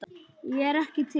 Ég er ekki til.